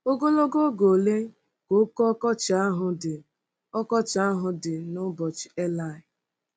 Ogologo oge ole ka oké ọkọchị ahụ dị ọkọchị ahụ dị n'ụbọchị eli?